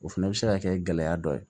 O fɛnɛ bɛ se ka kɛ gɛlɛya dɔ ye